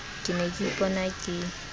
ke ne ke ipona ke